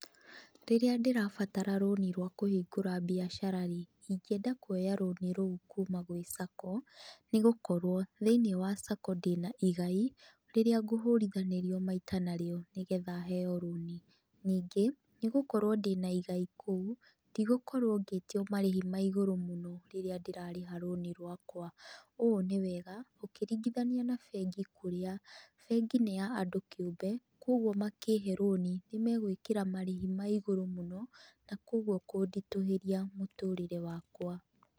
Rīrīa ndīrabatara rūnī rwa kūhingūra mbiacara rīī, ingienda kuoya rūnī rūu kuuma gwī Sacco nī gūkorwo thīinī wa Sacco ndīna igai rīrīa ngūhūrithanīrio maita narīo nīgetha heo rūnī, ningī, nīgūkorwo ndīna igai kūu, ndigūkorwo ngītio marīhi ma igūrū mūno rīrīa ndīrarīha rūnī rwaka. Ūū nī wega ūkīringithania na bengi kūrīa bengi nī ya andū kīūmbe, koguo makīhe rūnī nī megwīkīra marīhi ma igūrū mūno na koguo kūnditūhīria mūtūrīre wakwa.